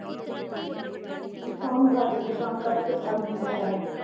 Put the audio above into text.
ਕੰਮ ਕਰ ਰਹੀ ਸੀ ਕੰਮ ਕਰ ਕੇ ਥਕ ਗਈ ਆ ਯਾਰ।